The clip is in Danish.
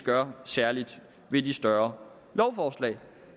gør særlig ved de større lovforslag